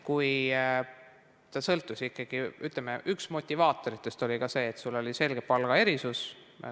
See sõltus ikkagi sellest, üks motivaatoritest oli see, et oli selge palgaerinevus.